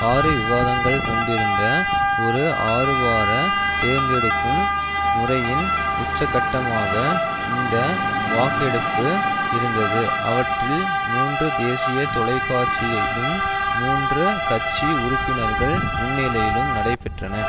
ஆறு விவாதங்கள் கொண்டிருந்த ஒரு ஆறுவார தேர்ந்தெடுக்கும் முறையின் உச்சக்கட்டமாக இந்த வாக்கெடுப்பு இருந்தது அவற்றில் மூன்று தேசிய தொலைக்காட்சியிலும் மூன்று கட்சி உறுப்பினர்கள் முன்னிலையிலும் நடைபெற்றன